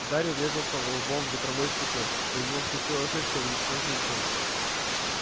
гарри врезался влбом в ветровое стекло и у него вскочила шишка величиной с яйцо